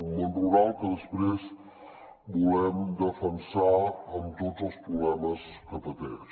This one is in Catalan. un món rural que després volem defensar amb tots els problemes que pateix